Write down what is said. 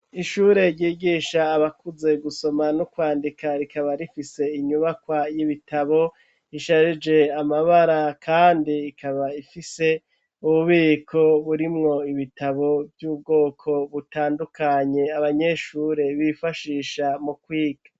Ishure ryigisha abakuze gusoma n'ukwandika rikaba rifise inyubakwa y'ibitabo isharije amabara kandi ikaba ifise ububiko burimwo ibitabo vy'ubwoko butandukanye abanyeshure bifashisha mu kwiga.